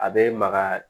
A bɛ maga